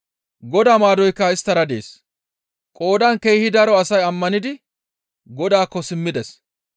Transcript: Godaa maadoykka isttara dees; qoodan keehi daro asay ammanidi Godaakko simmides.